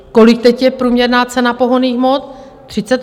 Kolik teď je průměrná cena pohonných hmot?